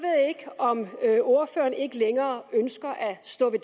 ikke om ordføreren ikke længere ønsker at stå ved